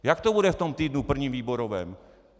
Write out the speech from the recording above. Jak to bude v tom týdnu - prvním výborovém?